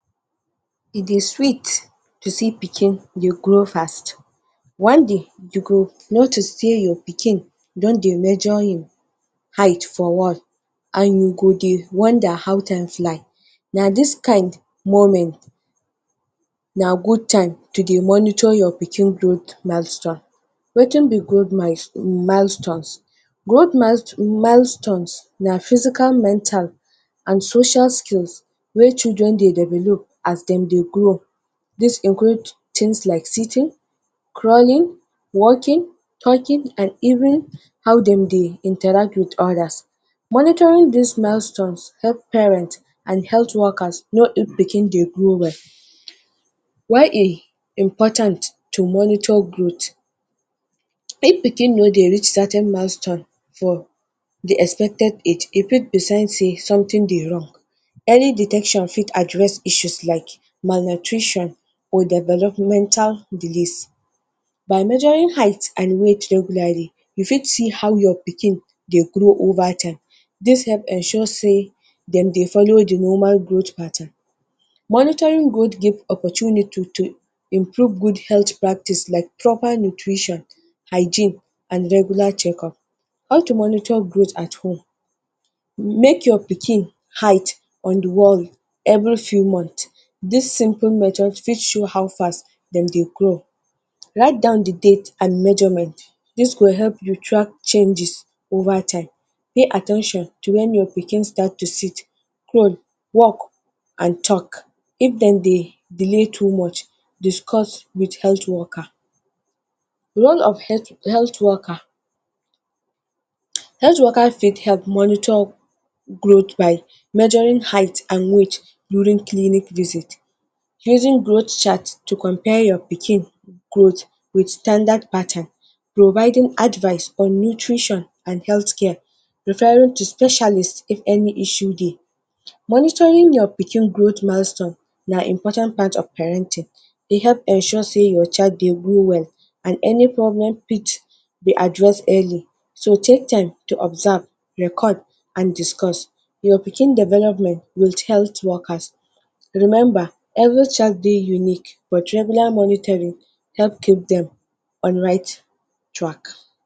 E dey sweet to see pikin dey grow fast. One day you go notice sey your pikin don dey measure im height for wall and you go dey wonder how time fly. Na this kind moment na good time to dey monitor your pikin growth milestone. wetin be growth milestones? Growth milestones na physical-mental and social skills wey children dey develop as dem dey grow this include things like sitting, crawling, walking, talking and even how dem dey interact with others. Monitoring this milestones help parent and health workers know if pikin dey grow well. why e important to monitor growth? If pikin no dey rich certain milestone for the expected age, e fit be sense sey something dey wrong. Any detection fit address issue like malnutrition or developmental disease. By measuring height and weight regularly, you fit see how your pikin dey grow over time. This help ensure sey dem dey follow the normal growth pattern. Monitoring growth give opportunity to improve good health practice like proper nutrition, hygiene and regular checkup. How to monitor growth at home? Make your pikin height on the wall every few month. This simple method fit show how fast dem dey grow, write down the date and measurement this go help you track changes over time, pay at ten tion to when your pikin start to sit, crawl, walk and talk if dem dey deley to much, discuss with health workers. Role of health worker: health worker fit help monitoring growth by measuring height and weight during clinic visit, using growth chart to comapare your pikin growth with standard pattern, providing advice on nutrition and health care referring to specialist if any issue dey. Monitoring your pikin growth milestone na important part of parenting. E help ensure sey your pikin dey grow well and any problem fit be address early and so take time to observe, record and discuss your pikin development with health workers. Remember every child dey unique but regular monitoring help keep them on right track.